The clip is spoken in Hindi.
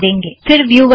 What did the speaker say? फ़िर व्यूवर पर